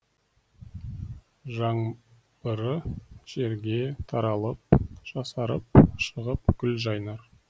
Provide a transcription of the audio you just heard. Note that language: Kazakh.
жаңбыры жерге таралып жасарып шығып гүл жайнар